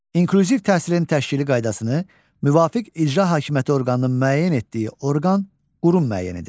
İnklüziv təhsilin təşkili qaydasını müvafiq icra hakimiyyəti orqanının müəyyən etdiyi orqan, qurum müəyyən edir.